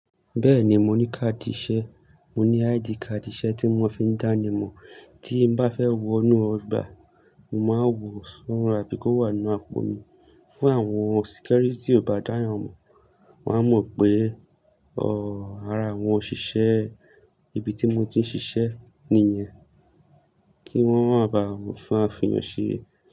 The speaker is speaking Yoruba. Bẹ́ẹ̀ni, mo ní káàdì ìṣe, mo ní ID káàdì ìṣe tí wón fi ń dánimọ̀ tí n bá fẹ́ wo inú ọgbà, màá wo sọ́ra bí kò wà nínú àpò mi. Fún àwọn security ò bá dáyànmọ̀, wọ́n á mọ̀ pé, ọ̀ọ́, ara àwọn òṣìṣẹ́ ibi tí mo ti ń ṣiṣẹ́ nìyẹn kí wọ́n má ba à fún àfi yàn ṣe.